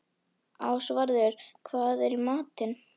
Ásvarður, hvað er í matinn?